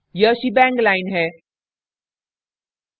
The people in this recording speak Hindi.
यह shenbang line है